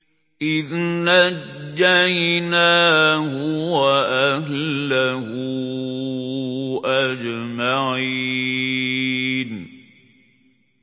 إِذْ نَجَّيْنَاهُ وَأَهْلَهُ أَجْمَعِينَ